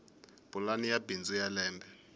pulani ya bindzu ya lembe